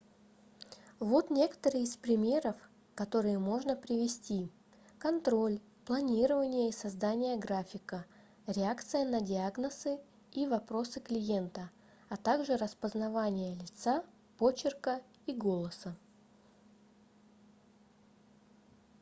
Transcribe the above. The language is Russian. вот некоторые из примеров которые можно привести контроль планирование и создание графика реакция на диагнозы и вопросы клиента а также распознавание лица почерка и голоса